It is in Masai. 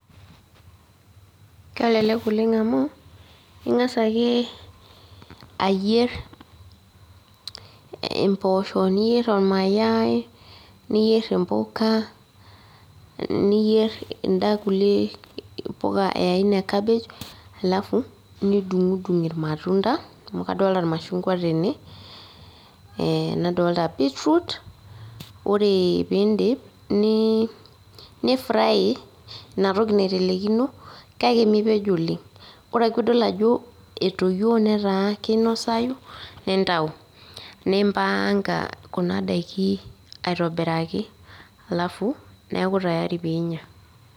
Kelelek oleng amu, ing'asa ake ayier impoosho niyier ormayai, niyier impuka, niyier kunda kulie puka e aina cabbage, alafu, nidung'dung irmatunda, amu kadolta irmashungwa tene, nadolta beetroot, ore pidip, ni fry inatoki naitelekino, kake mipej oleng. Ore ake pidol etoyio netaa kinosayu, nintau. Nipaanka kuna daiki aitobiraki, alafu, neeku tayari pinya.